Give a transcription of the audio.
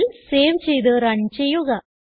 file save ചെയ്ത് run ചെയ്യുക